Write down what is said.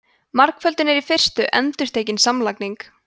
margföldun er í fyrstu endurtekin samlagning